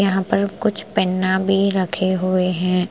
यहाँ पर कुछ पेन्ना भी रखे हुए हैं ।